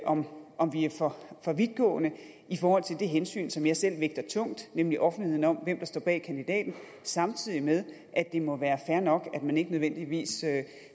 om om vi er for vidtgående i forhold til det hensyn som jeg selv vægter tungt nemlig offentligheden om hvem der står bag kandidaten samtidig med at det må være fair nok at man ikke nødvendigvis